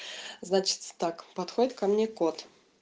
значит так подходит ко мне кот